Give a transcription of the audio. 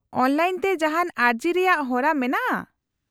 -Online ᱛᱮ ᱡᱟᱦᱟᱱ ᱟᱹᱨᱡᱤ ᱨᱮᱭᱟᱜ ᱦᱚᱨᱟ ᱢᱮᱱᱟᱜᱼᱟ ?